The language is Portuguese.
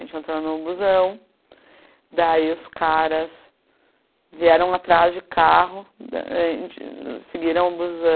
A gente entrou no busão, daí os caras vieram atrás de carro, a gente, seguiram o busão.